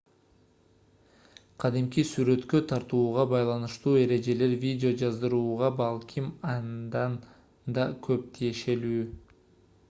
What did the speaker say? кадимки сүрөткө тартууга байланыштуу эрежелер видео жаздырууга балким андан да көп тиешелүү